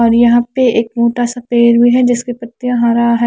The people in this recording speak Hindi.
और यहा पे एक मोटा सा पेड़ भी है जिसकी पत्तिया हरा है ।